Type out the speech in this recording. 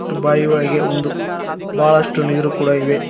ಮತ್ತು ಬಾಯಿ ಒಳಗೆ ಒಂದು ಬಹಳಷ್ಟು ನೀರು ಕೂಡ ಇವೆ.